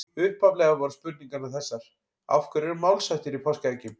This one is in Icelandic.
Upphaflega voru spurningarnar þessar: Af hverju eru málshættir í páskaeggjum?